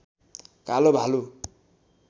कालो भालु